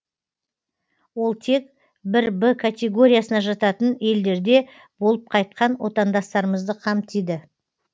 ол тек бір б категориясына жататын елдерде болып қайтқан отандастарымызды қамтиды